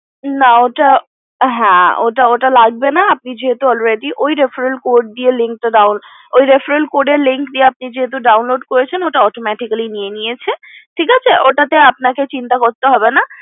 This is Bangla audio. না হ্যা ওটা লাগবে না আপনি যেহেতু already ঐ referral code এর link দিয়ে যেহেতু আপনি download করেছেন ওটা automatically নিয়ে নিয়েছে ঠিক আছে ওটাতে আপনাকে চিন্তা করতে হবে না